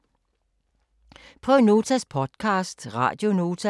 Prøv Notas podcast, Radio Nota